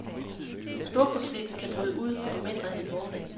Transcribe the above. Storkonflikten kan bryde ud om mindre end en måned.